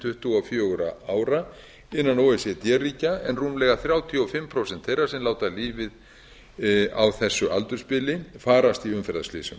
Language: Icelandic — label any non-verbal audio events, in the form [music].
tuttugu og fjögur [unintelligible] ára innan o e c d ríkja en rúmlega þrjátíu og fimm prósent þeirra sem láta lífið á þessu aldursbili farast í umferðarslysum